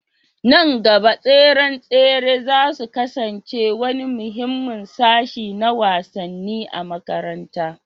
A nan gaba, tseren tsere za su kasance wani muhimmin sashi na wasanni na makaranta